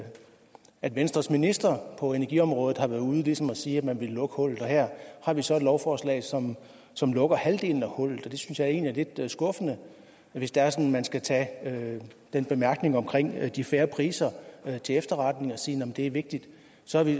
at venstres minister på energiområdet har været ude og ligesom sige at man ville lukke hullet og her har vi så et lovforslag som som lukker halvdelen af hullet det synes jeg egentlig er lidt skuffende hvis det er sådan at man skal tage den bemærkning om de fair priser til efterretning og sige jamen det er vigtigt så